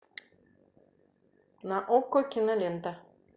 на окко кинолента